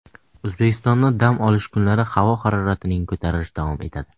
O‘zbekistonda dam olish kunlari havo haroratining ko‘tarilishi davom etadi.